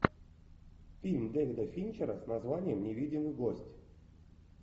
фильм дэвида финчера с названием невидимый гость